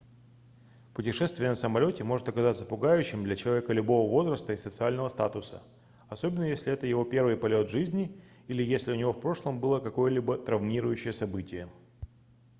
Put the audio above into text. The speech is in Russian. путешествие на самолёте может оказаться пугающим для человека любого возраста и социального статуса особенно если это его первый полет в жизни или если у него в прошлом было какое-либо травмирующее событие